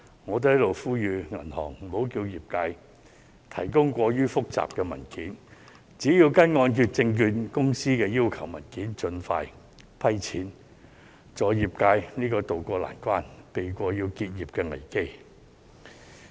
我在此也要呼籲銀行，無需要求業界提供過於複雜的文件，只需提交香港按揭證券有限公司所要求的文件，盡快批核申請，助業界渡過難關，避過結業的危機。